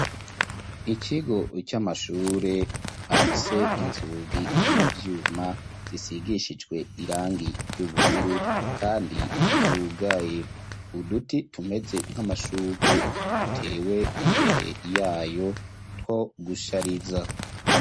Ikigo c'amashure, afise inzugi z'ivyuma, zisigishijwe irangi, ry'ubururu, kandi zugaye; uduti tumeze, nk'amashurwe, dutewe imbere, y'ayo two gushariza.